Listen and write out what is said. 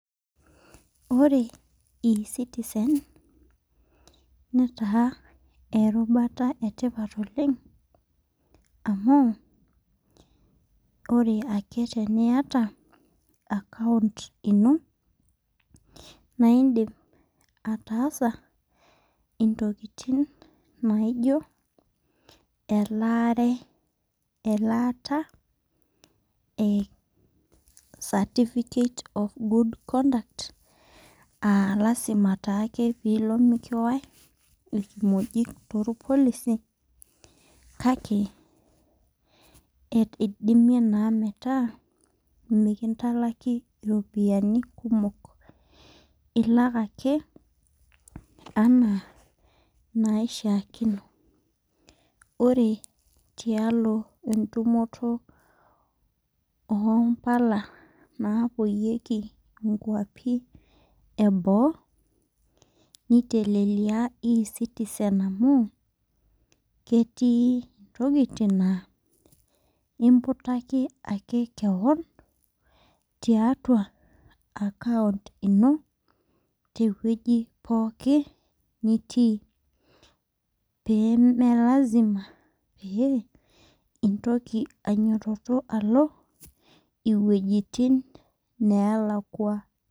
Ore e citizen netaa erubata etipat oleng, amu ore ake teniata account ino naa idim ataasa intokitin naijo elaare. elaata e certificate of good conduct lasima take peeilo mokiwaye irkimoki tolpolisi. kake eidimie naa metaa mikintaliki iropiyiani kumok. ilak ake anaa inaishaakino. ore tialo entumoto oo mpala naapuoyieki nkuapi eboo. niteleleia e citizen amu ketii tokitin naa imputaki ake kewon tiatua account Ino tewueji pooki. Nitii. pee image lasima pee intoki alo iwuejitin neelakua.